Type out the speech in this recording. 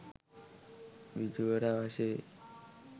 බිජුවට අවශ්‍ය වේ.